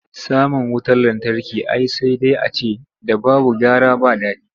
Samun wurar lantarki ai sai dai a ce ‘da babu gara ba dadi.